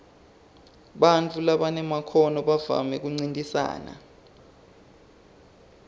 bantfu labanemakhono bavamise kuncintisana